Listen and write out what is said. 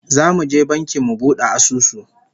Zamu je banki mu bude asusu